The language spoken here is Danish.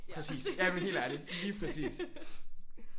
Præcis jamen helt ærligt lige præcis